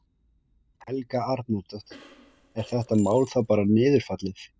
Helga Arnardóttir: Er þetta mál þá bara niðurfallið?